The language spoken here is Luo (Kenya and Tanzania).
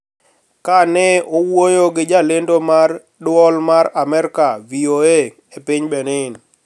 Kane owuoyo gi jalendo mar Dwol mar Amerka (VOA) e piny Benin,